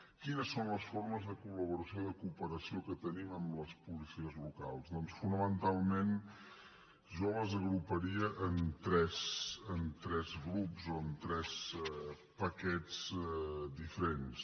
quines són les formes de col·que tenim amb les policies locals doncs fonamentalment jo les agruparia en tres grups o en tres paquets diferents